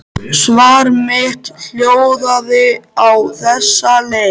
Svar mitt hljóðaði á þessa leið